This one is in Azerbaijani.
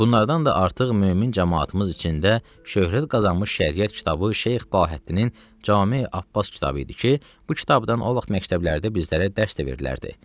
Bunlardan da artıq mömin camaatımız içində şöhrət qazanmış şəriət kitabı Şeyx Bahəddinin Came Abbas kitabı idi ki, bu kitabdan o vaxt məktəblərdə bizlərə dərs də verilərdi.